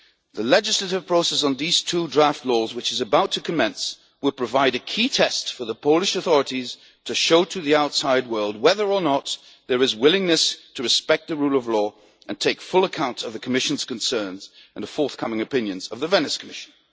The legislative process on these two draft laws, which is about to commence, will provide a key test for the Polish authorities, to show to the outside world whether or not there is willingness to respect the rule of law and take full account of the Commission's concerns and the forthcoming opinions of the Venice Commission.